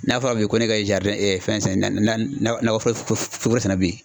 N'a fɔra bi ko ne ka fɛn san nakɔ foro foro sɛnɛ bi.